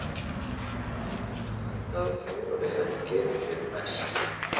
Hvaða þjálfari hefur gefið þér mest?